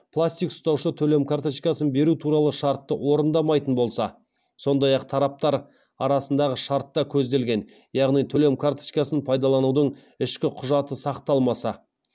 пластик ұстаушы төлем карточкасын беру туралы шартты орындамайтын болса сондай ақ тараптар арасындағы шартта көзделген яғни төлем карточкасын пайдаланудың ішкі құжаты сақталмаса